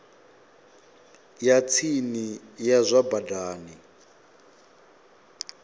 ya tsini ya zwa badani